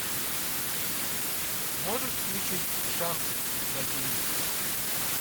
можешь включить шант на тв